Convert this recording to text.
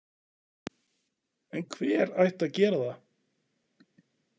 En hver ætti að gera það?